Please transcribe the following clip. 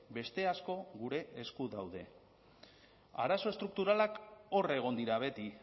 beste asko gure esku daude arazo estrukturalak hor egon dira beti